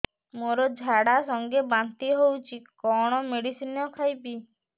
ମୋର ଝାଡା ସଂଗେ ବାନ୍ତି ହଉଚି କଣ ମେଡିସିନ ଖାଇବି